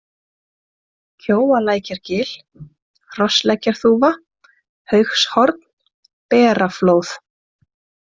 Kjóalækjargil, Hrossleggjarþúfa, Haugshorn, Beraflóð